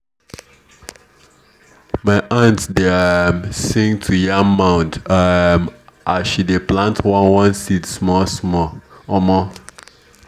my aunt dey um sing to yam mound um as she dey plant one one seed small small. um